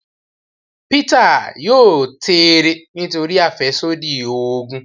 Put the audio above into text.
Peter yóò tẹẹrẹ nítorí afẹsodi oògùn